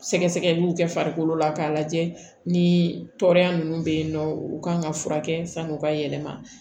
Sɛgɛsɛgɛliw kɛ farikolo la k'a lajɛ ni tɔɔrɔya ninnu bɛ yen nɔ u kan ka furakɛ san'u ka yɛlɛma